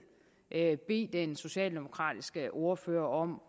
bede den socialdemokratiske ordfører om